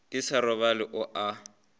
ke sa robale o a